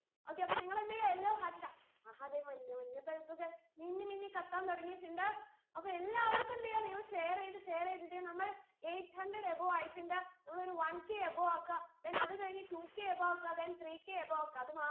okay അപ്പൊ നിങ്ങളെന്തെയ്യാ yellow heart ഇടാ മഹാദേവ മഞ്ഞ മഞ്ഞ bulb കൾ മിന്നിമിന്നി കത്താൻ തുടങ്ങിട്ട്ണ്ട് അപ്പോ എല്ലാവർക്കും എന്തെയ്യ നിങ്ങൾ share എയ്ത് share എയ്ത് ഇതിനെ നമ്മൾ eight hundered above ആയിട്ടുണ്ട് നമ്മൾ ഒരു oneKabove ആക്ക then അതു കഴിഞ്ഞു twoKabove ആക്ക then threeKabove ആക്ക അത് മാ